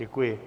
Děkuji.